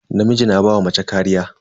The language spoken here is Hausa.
Namiji na ba wa mace kariya.